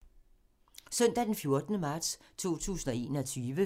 Søndag d. 14. marts 2021